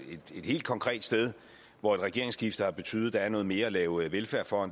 et helt konkret sted hvor et regeringsskifte har betydet at der er noget mere at lave velfærd for